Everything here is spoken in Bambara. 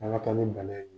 An ka taa ni bana ye